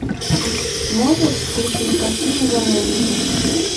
можешь включить картину заложники